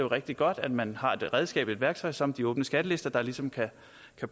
rigtig godt at man har et redskab et værktøj som de åbne skattelister der ligesom kan